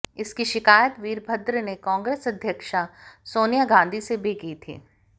इसकी शिकायत वीरभद्र ने कांग्रेस अध्यक्षा सोनिया गांधी से भी की थी